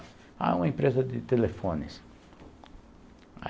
Ah, é uma empresa de telefones.